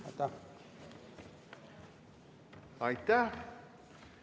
Aitäh!